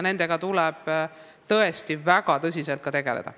Seega tuleb nendega ka väga tõsiselt tegeleda.